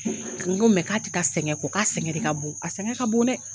N ko k'a tɛ taa sɛgɛn kɔ k'a sɛgɛn de ka bon a sɛgɛn ka bon dɛ.